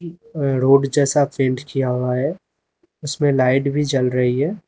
Road जैसा paint किया हुआ है उसमें लाइट भी जल रही है।